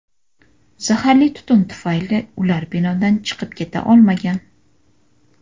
Zaharli tutun tufayli ular binodan chiqib keta olmagan.